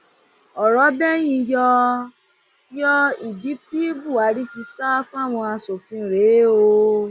ọrọ bẹyìn yọ yọ ìdí tí buhari fi sá fáwọn aṣòfin rèé o